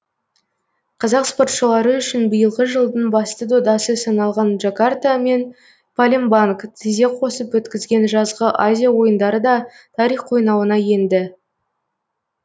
қазақ спортшылары үшін биылғы жылдың басты додасы саналған джакарта мен палембанг тізе қосып өткізген жазғы азия ойындары да тарих қойнауына енді